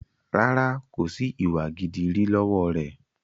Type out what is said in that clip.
Rárá, kòsi ìwà gidi rí lọ́wọ́ rẹ.